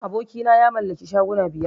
Abokina ya mallaki shuguna biyar